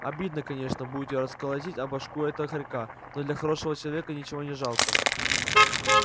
обидно конечно будет её расколотить о башку этого хорька но для хорошего человека ничего не жалко